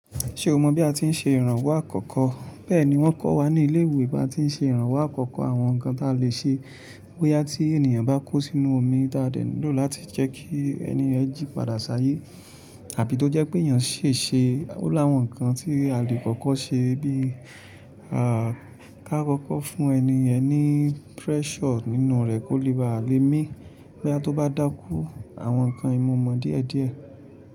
Ṣé o mọ bí a ti ń ṣe ìrànwọ́ àkọ́kọ́? Bẹ́ẹ̀ni wọ́n kọ́ wa ní ilé-ìwé bí a ti ń ṣe ìrànwọ́ àkọ́kọ́. Àwọn ǹkan tí a lè ṣe bóyá tí ènìyàn bá kó sínú omi, taadẹ nílò láti jẹ́ kí ènìyàn jí padà ṣàyẹ̀ àbí tó jẹ́ pé ẹyàn ṣeéṣe ó la àwọn ǹkan tí a lè kọ́kọ́ ṣe bíi a ka kọ́kọ́ fún ẹniyẹn ní pressure nínú rẹ̀ kí ó lè bá a lè mi, bí a tó bá dákú àwọn ǹkan yí mo mọ̀ díẹ̀díẹ̀.